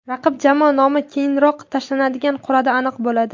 Raqib jamoa nomi keyinroq tashlanadigan qur’ada aniq bo‘ladi.